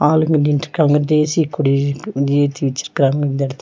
ஆளுங்க நின்டுக்காங்க தேசிய கொடி வந்து ஏத்தி வெச்சிருக்காங்க இந்த எடத்துல.